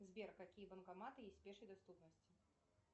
сбер какие банкоматы есть в пешей доступности